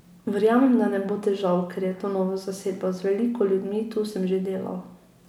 Verjamem, da ne bo težav, ker je to nova zasedba, z veliko ljudmi tu sem že delal.